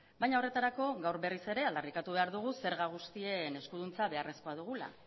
baina horretarako gaur berriz ere aldarrikatu behar dugu zerga guztien eskuduntza beharrezkoa dugula